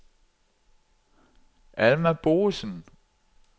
Alma Boesen